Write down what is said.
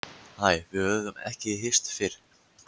Hæ, við höfum ekki hist fyrr.